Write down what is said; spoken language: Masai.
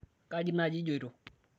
kji naaji ijioto?